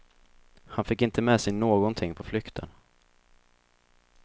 Han fick inte med sig någonting på flykten.